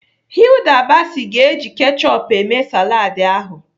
Hilda Baci ga-eji kechup eme saladị ahụ.